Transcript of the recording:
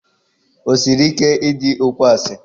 O siri ike idi okwu asị.